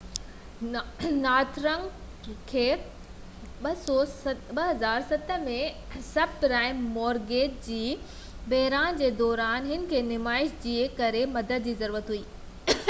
Northern Rock کي 2007 ۾ subprime mortgage جي بحران جي دوران هن کي نمائش جي ڪري مدد جي ضرورت هئي